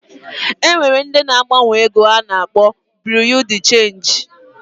E nwere ndị na-agbanwe ego a na-akpọ Buru Di Chenji